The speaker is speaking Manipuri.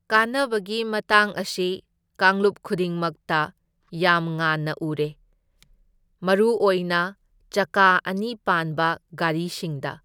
ꯀꯥꯟꯅꯕꯒꯤ ꯃꯇꯥꯡ ꯑꯁꯤ ꯀꯥꯡꯂꯨꯞ ꯈꯨꯗꯤꯡꯃꯛꯇ ꯌꯥꯝ ꯉꯥꯟꯅ ꯎꯔꯦ, ꯃꯔꯨ ꯑꯣꯏꯅ ꯆꯀꯥ ꯑꯅꯤ ꯄꯥꯟꯕ ꯒꯥꯔꯤꯁꯤꯡꯗ꯫